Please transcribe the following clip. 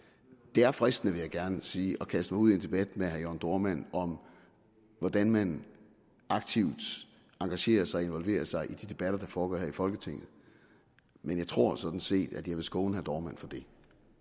det er fristende vil jeg gerne sige at kaste mig ud i en debat med herre jørn dohrmann om hvordan man aktivt engagerer sig og involverer sig i de debatter der foregår her i folketinget men jeg tror sådan set at jeg vil skåne herre dohrmann for det